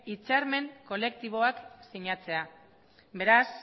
hitzarmen kolektibo bat sinatzea beraz